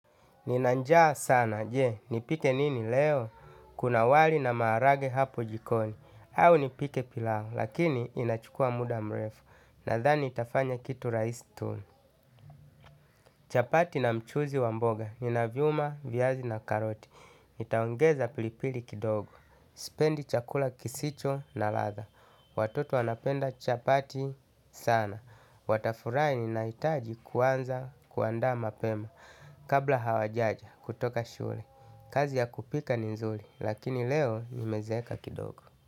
Nina njaa sana, je, nipike nini leo? Kuna wali na maharage hapo jikoni. Au nipike pilau, lakini inachukua muda mrefu. Nadhani itafanya kitu rahisi tu. Chapati na mchuzi wa mboga ninaviuma viazi na karoti nitaongeza pilipili kidogo. Sipendi chakula kisicho na ladha. Watoto wanapenda chapati sana. Watafurahi ninahitaji kuanza kuandaa mapema. Kabla hawajaja kutoka shule kazi ya kupika ni nzuri. Lakini leo nimezeeka kidogo.